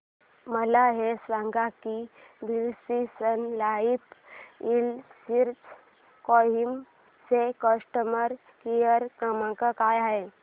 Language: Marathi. मला हे सांग की Birla sun life insurance Kohima चा कस्टमर केअर क्रमांक काय आहे